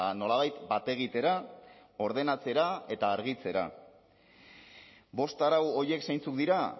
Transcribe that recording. nolabait bategitera ordenatzera eta argitzera bost arau horiek zeintzuk dira